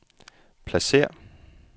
pladsér